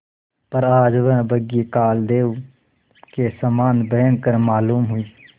पर आज वह बग्घी कालदेव के समान भयंकर मालूम हुई